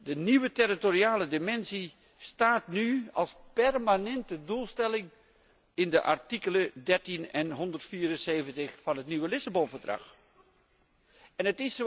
De nieuwe territoriale dimensie staat nu als permanente doelstelling in de artikelen 13 en 174 van het nieuwe Verdrag van Lissabon.